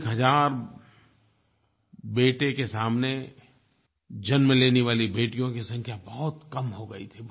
एक हज़ार बेटों के सामने जन्म लेने वाली बेटियों की संख्या बहुत कम हो गयी थी